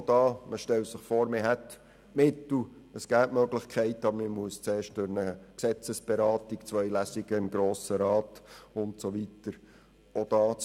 Auch hier: Man stelle sich vor, man hätte Mittel und Möglichkeiten zur Verfügung, müsste aber zuerst durch eine Gesetzesberatung und zwei Lesungen im Grossen Rat, um sie einsetzen zu können.